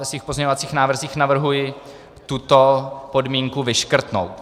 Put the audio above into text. Ve svých pozměňovacích návrzích navrhuji tuto podmínku vyškrtnout.